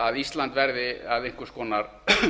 að ísland verði að einhvers konar